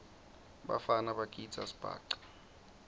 bafana bagidza sibhaca